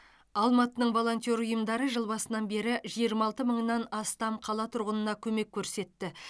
алматының волонтер ұйымдары жыл басынан бері жиырма алты мыңнан астам қала тұрғынына көмек көрсетті